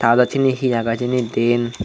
ta adot seani he agay hejani deane.